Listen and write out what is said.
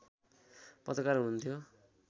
पत्रकार हुनुहुन्थ्यो